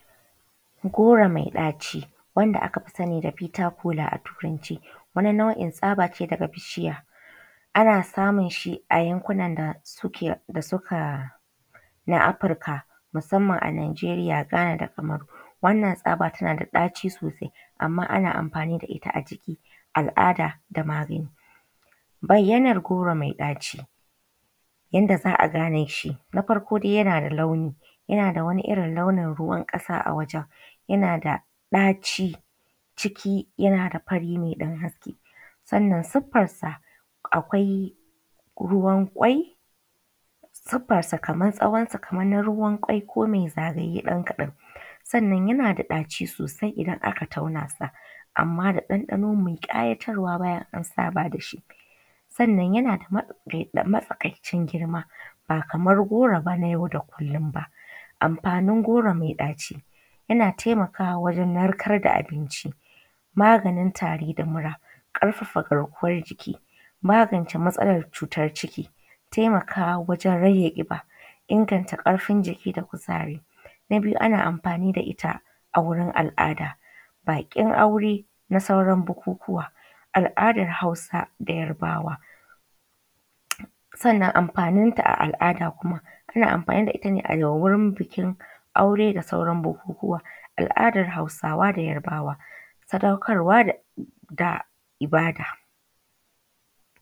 Goro mai ɗaci wanda akafi sani da kola not. Wani nau’in tsabace daga bishiya ana samunshi a yankun nan da suka na afirika musamman a najeriya, gana da kamaru. Wanna tsaba tanada ɗaci sosai amma ana amfani da itta a cikin al’ada ta magani. Bayyanar goro mai ɗaci yanda za’a ganeshi na farko dai yana da launi, yanada wani irrin launin ruwan ƙasa a wajen yanada ɗaci ciki yanada fari mai ɗan haske sannan suffarsa akwai ruwan kwai. Sufarsa Kamar tsawan sa kamar na ruwan kwai ko mai ko mai ɗaci ɗan kaɗa, sannan yanada ɗaci sosai idan aka taunasa amma da ɗan ɗano mai ƙayatarwa bayan an saba dashi. Sannan yanada matsakaicin girma ba Kaman goro ban a yau da kullum ba. amfanin goro mai ɗaci taimakawa wajen narkarda abinci, maganin tari da mura, ƙarfafa garkuwan jiki, maganin matsalar ciki, taimakawa wajen rage ƙiba, inganta ƙarfin jiki da kuzari. Na biyu ana amfani da itta a wurin al’ada ba bikin aure na sauran bukukuwa. Al’adan hausa da yarbawa. Sannan amfanin ta a al’ada kuma ana amfani da itta ne a wurin bikin aure da sauran bukukuwa al’adan hausawa da yarbawa sadaukarwa da ibada.